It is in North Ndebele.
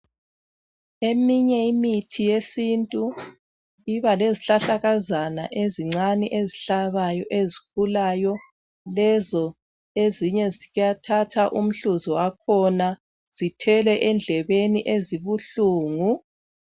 Eminye imithi yesintu iba lezihlahlakazana ezincane ezihlabayo ezikhulayo lezo ezinye kuyathathwa umhluzi wakhona zithelwe endlebeni ezibuhlungu